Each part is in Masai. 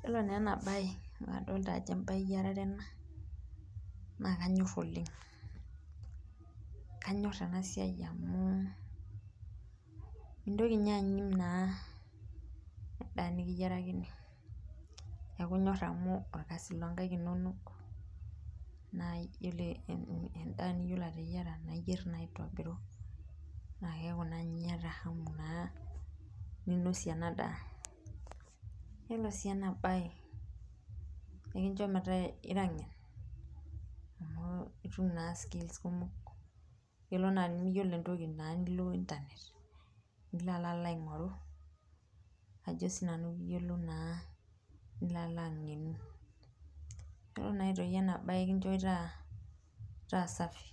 Yiolo naa ena bae amu kadolita ajo embae eyiarare ena ,naa kanyor oleng kanyor ena siai amu nintoki ninye anyim naa endaa nikiyierakini neeku inyor naa amu orkasi loonkaek inonok, naaa iyiolo endaa niyiolou ateyiera naa iyeir naa aitobiru naa keeku naa ninye iyata hamu ninosie ena daa .yiolo sii ena bae ekincho metaa ira ngen amu itum naa skills kumok ,yiolo tenimiyiolo ntokiting nilo internet nilo alo aingoru, nilo alo angenu ,yiolo aitoki ena bae enkincho taa safi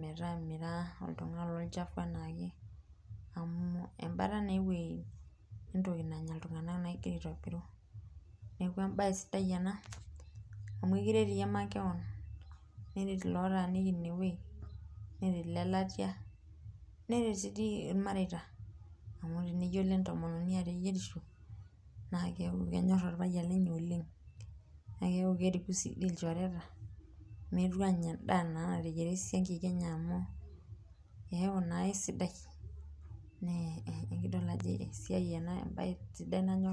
metaa mira oltungani lolchafu anaake amu embata naa eweji na eweji nenya ltungank ingira aitobiru .neeku embae sidai ena amu ekiret iyie makeon ,neret lootaniki ineweji ,neret olelatia neret dii irmareita amu teneyiolo entomononi ateyierisho naa keeku kenyor orpayian lenye oleng ,naa keeku doi keriku ilchoreta meetu anya enda nateyiera esiankiki enye amu eku naa keisaidai naa embae sidai ena nanyor.